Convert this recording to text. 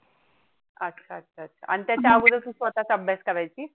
अच्छा अच्छा अच्छा आणि त्याच्या अगोदर स्वतः चा अभ्यास करायची.